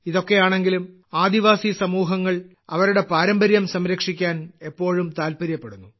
ഇതൊക്കെയാണെങ്കിലും ആദിവാസി സമൂഹങ്ങൾ അവരുടെ പാരമ്പര്യം സംരക്ഷിക്കാൻ എപ്പോഴും താല്പര്യപ്പെടുന്നു